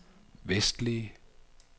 vestlige